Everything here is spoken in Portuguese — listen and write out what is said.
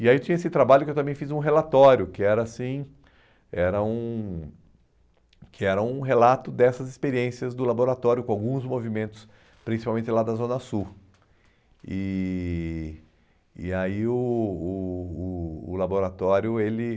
E aí tinha esse trabalho que eu também fiz um relatório, que era assim era um que era um relato dessas experiências do laboratório com alguns movimentos, principalmente lá da Zona Sul. E e aí o o o o laboratório ele